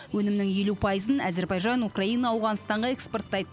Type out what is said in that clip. өнімнің елу пайызын әзербайжан украина ауғанстанға экспорттайды